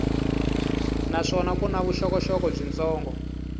naswona ku na vuxokoxoko byitsongo